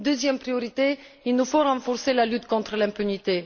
Deuxième priorité, il nous faut renforcer la lutte contre l'impunité.